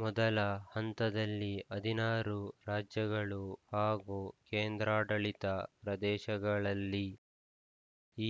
ಮೊದಲ ಹಂತದಲ್ಲಿ ಹದಿನಾರು ರಾಜ್ಯಗಳು ಹಾಗೂ ಕೇಂದ್ರಾಡಳಿತ ಪ್ರದೇಶಗಳಲ್ಲಿ